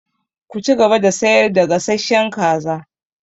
Ki cigaba da sayar da gasasshen kaza!